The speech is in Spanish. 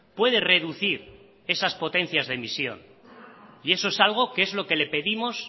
puede reducir esas potencias de emisión y eso es algo que es lo que le pedimos